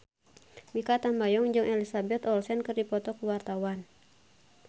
Mikha Tambayong jeung Elizabeth Olsen keur dipoto ku wartawan